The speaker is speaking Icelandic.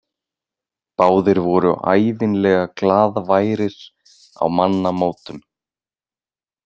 Báðir voru ævinlega glaðværir á mannamótum.